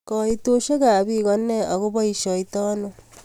Koitoshek ab pik konee ako boishetoi ano?